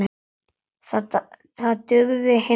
Það dugði hins vegar ekki.